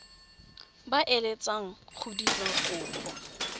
ba eletsang go dira kopo